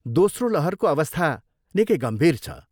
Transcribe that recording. दोस्रो लहरको अवस्था निकै गम्भीर छ।